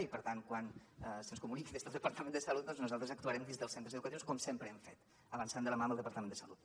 i per tant quan se’ns comuniqui des del departament de salut doncs nosaltres actuarem dins dels centres educatius com sempre hem fet avançant de la mà amb el departament de salut